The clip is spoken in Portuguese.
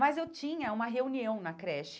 Mas eu tinha uma reunião na creche.